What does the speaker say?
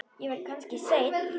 Ég verð kannski seinn.